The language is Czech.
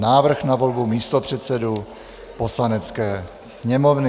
Návrh na volbu místopředsedů Poslanecké sněmovny